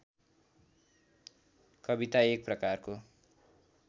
कविता एक प्रकारको